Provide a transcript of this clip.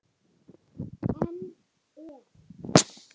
En ef?